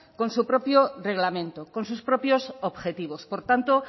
con su propio reglamento con sus propios objetivos por tanto